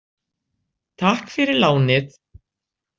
Takk fyrir lánið.